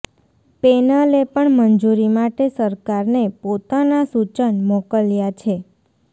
પેનલે પણ મંજૂરી માટે સરકારને પોતાના સૂચન મોકલ્યા છે